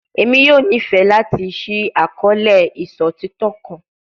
Emi yoo nifẹ lati ṣii akọọlẹ iṣotitọ kan